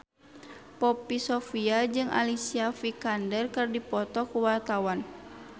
Poppy Sovia jeung Alicia Vikander keur dipoto ku wartawan